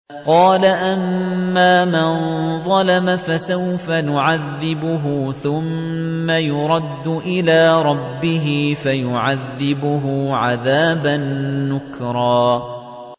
قَالَ أَمَّا مَن ظَلَمَ فَسَوْفَ نُعَذِّبُهُ ثُمَّ يُرَدُّ إِلَىٰ رَبِّهِ فَيُعَذِّبُهُ عَذَابًا نُّكْرًا